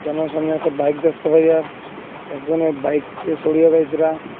সামনে একটা বাইক দেখতে পাইয়া আর একজনের বাইক সরিয়া ।